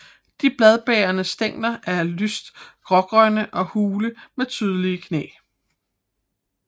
De bladbærende stængler er lyst grågrønne og hule med tydelige knæ